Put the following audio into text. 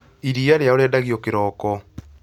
Iria rĩao rĩendagio kĩroko